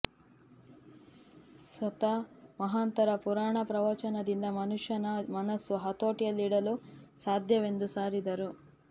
ಸಂತ ಮಹಾಂತರ ಪುರಾಣ ಪ್ರವಚನದಿಂದ ಮನುಷ್ಯನ ಮನಸ್ಸು ಹತೋಟಿಯಲ್ಲಿಡಲು ಸಾಧ್ಯವೆಂದು ಸಾರಿದರು